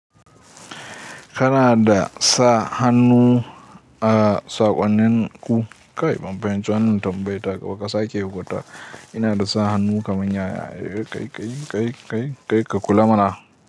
Kanada sa hannu a saƙonnin ku kai bambancin wannan tambaya ka sake hukunta. Kanada sa hannu kamar yaya kai, kai, kai, kai, kai ka kula mana.